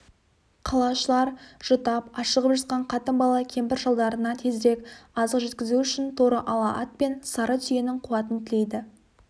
қалашылар жұтап ашығып жатқан қатын-бала кемпір-шалдарына тезірек азық жеткізу үшін торы ала ат пен сары түйенің қуатын тілейді